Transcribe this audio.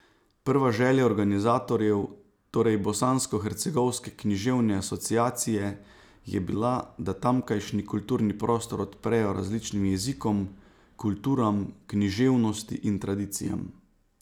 Prva želja organizatorjev, torej bosanskohercegovske književne asociacije, je bila, da tamkajšnji kulturni prostor odprejo različnim jezikom, kulturam, književnosti in tradicijam.